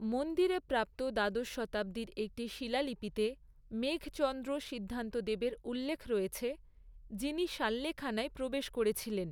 মন্দিরে প্রাপ্ত দ্বাদশ শতাব্দীর একটি শিলালিপিতে মেঘচন্দ্র সিদ্ধান্তদেবের উল্লেখ রয়েছে, যিনি সাল্লেখানায় প্রবেশ করেছিলেন।